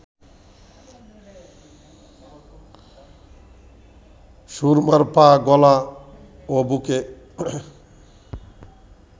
সুরমার পা, গলা ও বুকে